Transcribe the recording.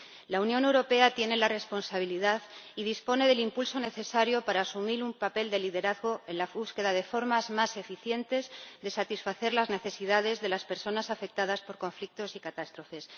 La Unión Europea tiene la responsabilidad y dispone del impulso necesario para asumir un papel de liderazgo en la búsqueda de formas más eficientes de satisfacer las necesidades de las personas afectadas por conflictos y catástrofes.